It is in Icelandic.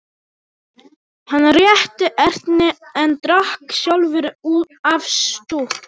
Hann rétti Erni en drakk sjálfur af stút.